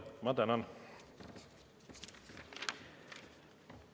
Ma tänan!